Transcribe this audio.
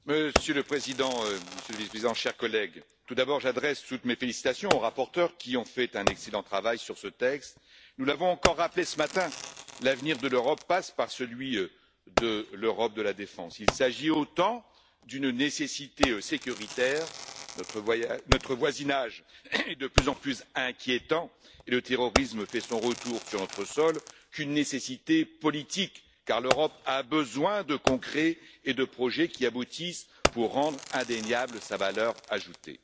Monsieur le Président, Monsieur le Vice président, chers collègues, j'adresse tout d'abord toutes mes félicitations aux rapporteurs, qui ont fait un excellent travail sur ce texte. Nous l'avons encore rappelé ce matin, l'avenir de l'Europe passe par celui de l'Europe de la défense. Il s'agit autant d'une nécessité sécuritaire notre voisinage est de plus en plus inquiétant et le terrorisme fait son retour sur notre sol que d'une nécessité politique, car l'Europe a besoin de concret et de projets qui aboutissent pour rendre indéniable sa valeur ajoutée.